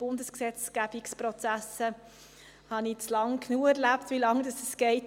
Ich habe mittlerweile genügend Erfahrung mit der Dauer von Prozessen in der Bundesgesetzgebung.